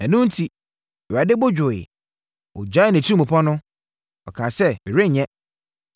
Ɛno enti, Awurade bo dwooɛ. Na ɔgyaee nʼatirimpɔ no. Ɔkaa sɛ, “Merenyɛ.”